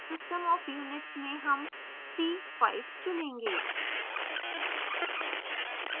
system of units में हम c5 चुनेंगे